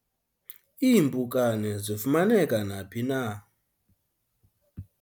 iimpukane zifumaneka naphi na